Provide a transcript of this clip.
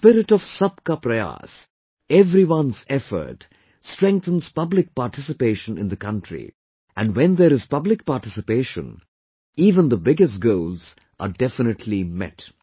This spirit of Sabka Prayas, everyone's effort strengthens public participation in the country and when there is public participation, even the biggest goals are definitely met